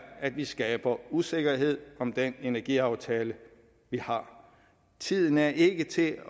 at vi skaber usikkerhed om den energiaftale vi har tiden er ikke til